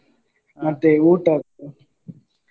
ಊಟದ್ದು.